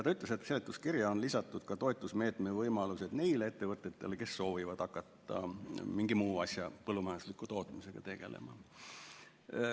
Ta ütles, et seletuskirja on lisatud ka toetusmeetme võimalused neile ettevõtetele, kes soovivad hakata mingi muu asja põllumajandusliku tootmisega tegelema.